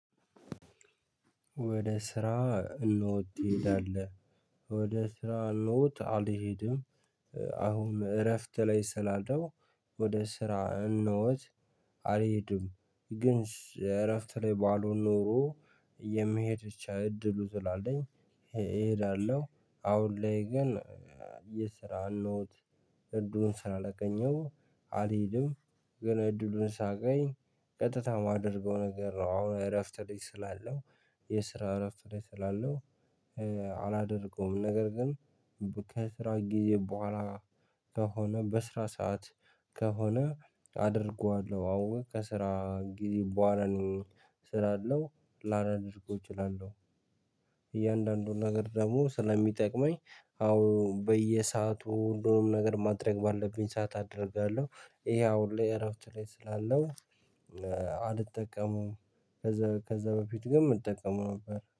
ወደ ስራ ኖት ትሄዳለህ? ወደ ስራ ኖት አልሄድም። አሁን እረፍት ላይ ስላለው። ወደ ስራ ኖት አልሄድም። ግን እረፍት ላይ ባሎን ኖሮ የመሄድ ብቻ እድሉ ስላለኝ። እሄዳለሁ። አሁን ላይ ግን የስራ ኖት እድሉን ስላላገኝው አልሄድም። ግን እድሉን ሳገኝ ቀጥታ የማደርገው ነገር ነው። አሁን እረፍት ልጅ ስላለው የስራ እረፍት ላይ ስላለው አላደርገውም። ነገር ግን ከስራ ጊዜ በኋላ ከሆነ በስራ ሰዓት ከሆነ አደርገዋለሁ። አዎ ከስራ ጊዜ በኋላ እሰራለሁ ላላደርገው እችላለሁ። እያንዳንዱን ነገር ደግሞ ስለሚጠቅመኝ አሁን በየሰአቱ ሁሉንም ነገር ማድረግ ባለብኝ ሰዓት አደርጋለሁ። ይሄ አሁን ላይ እረፍት ላይ ስላለው አልጠቀመውም። ከዛ ከዛ በፊት ግን እጠቀመው ነበር